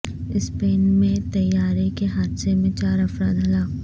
Spain میں طیارے کے حادثے میں چار افراد ہلاک